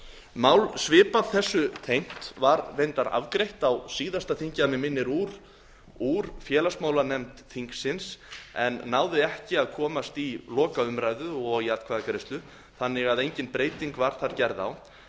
mál svipað þessu tengt var reyndar afgreitt á síðasta þingi að mig minnir úr félagsmálanefnd þingsins en náði ekki að komast í lokaumræðu og í atkvæðagreiðslu þannig að engin breyting var þar gerð á